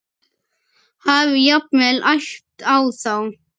Hafi jafnvel æpt á þá.